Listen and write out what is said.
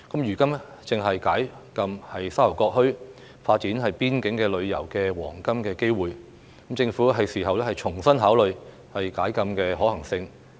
如今正是解禁沙頭角墟、發展邊境旅遊的黃金機會，政府是時候重新考慮解禁的可行性。